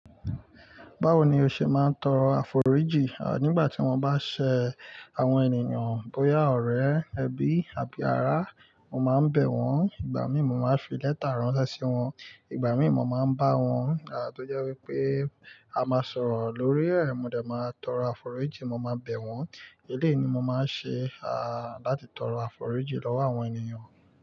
Báwo ni o ṣe máa ń tọrọ àforíjì? À, nígbà tí wọ́n bá ṣe àwọn ènìyàn bóyá ọ̀rẹ́, ẹbí àbí ará, mo máa ń bẹ̀ wọ́n, ìgbà mìí mo máa ń fi lẹ́tà ránṣẹ́ sí wọn, ìgbà mìí mo máa ń bá wọn, à tó jẹ́ wípé a máa sọ̀rọ̀ lórí ẹ̀, mo dẹ̀ máa tọrọ àforíjì, mo máa bẹ̀ wọ́n. Eléyìí ni mo máa ń ṣe, láti tọrọ àforíjì lọ́wọ́ àwọn ènìyàn.